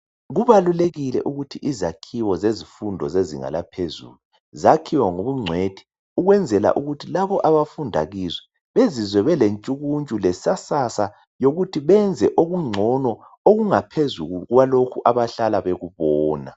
kubalulekile ukuba izakhiwo zemfundo lezinga eliphezulu zakhiwe ngokuncweki ukuze ukuthi labo abafunda kizo bezizwe bele ntshukutshu le lesasasa ukuthi benze okuncono okuphezulu kwalokho abahlala bekubona